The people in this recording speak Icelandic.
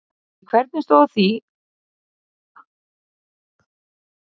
En hvernig stóð þá á því að svo fór sem fór?